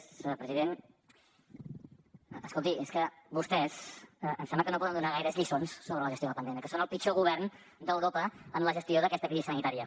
escolti és que vostès em sembla que no poden donar gaires lliçons sobre la gestió de la pandèmia que són el pitjor govern d’europa en la gestió d’aquesta crisi sanitària